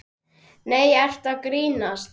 Nei, ertu að grínast?